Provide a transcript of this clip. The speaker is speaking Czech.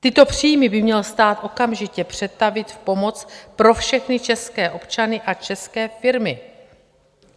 Tyto příjmy by měl stát okamžitě přetavit v pomoc pro všechny české občany a české firmy.